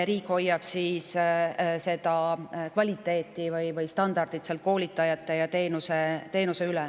Riik hoiab koolitajate ja teenuse kvaliteeti või standardi.